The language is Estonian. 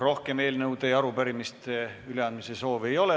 Rohkem eelnõude ja arupärimiste üleandmise soovi ei ole.